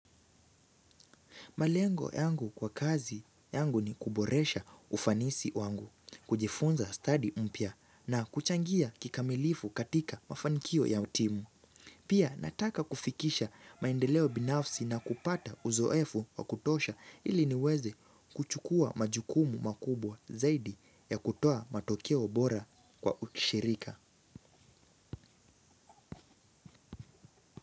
Malengo yangu kwa kazi yangu ni kuboresha ufanisi wangu, kujifunza study mpya na kuchangia kikamilifu katika mafanikio ya timu. Pia nataka kufikisha maendeleo binafsi na kupata uzoefu wa kutosha ili niweze kuchukua majukumu makubwa zaidi ya kutoa matokeo bora kwa ushirika.